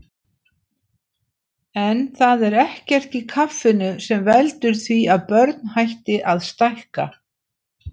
En það er ekkert í kaffinu sem veldur því að börn hætti að stækka.